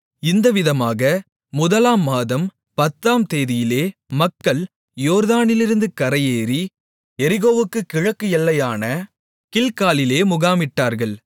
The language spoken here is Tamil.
இந்தவிதமாக முதலாம் மாதம் பத்தாம் தேதியிலே மக்கள் யோர்தானிலிருந்து கரையேறி எரிகோவுக்குக் கிழக்கு எல்லையான கில்காலிலே முகாமிட்டார்கள்